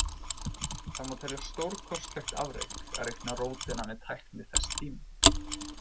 Það má telja stórkostlegt afrek að reikna rótina með tækni þess tíma.